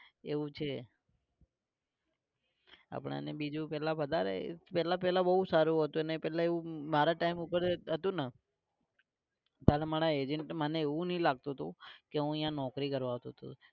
એવું છે. આપણે ને બીજું પેલા વધારે પેલા પેલા બહુ સારું હતું ને પેલા એવું મારા time પર હતું ન કાલ મારા agent તો મને એવું નઇ લાગતું તું કે હું અઈયા નોકરી કરવા આવતો તો